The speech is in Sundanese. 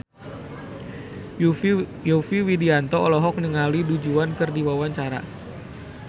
Yovie Widianto olohok ningali Du Juan keur diwawancara